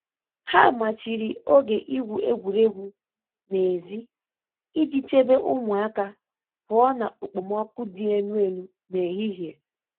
Ha machiri oge igwu egwuregwu n'èzí iji chebe ụmụaka pụọ na okpomọkụ dị elu elu n’ehihie.